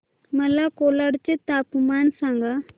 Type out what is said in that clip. मला कोलाड चे तापमान सांगा